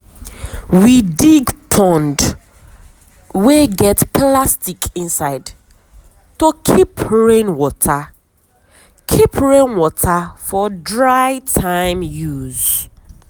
we dig pond wey get plastic inside to keep rain water keep rain water for dry time use.